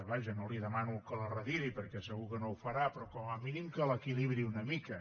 vaja no li demano que la retiri perquè segur que no ho farà però com a mínim que l’equilibri una mica